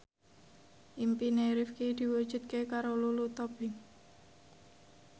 impine Rifqi diwujudke karo Lulu Tobing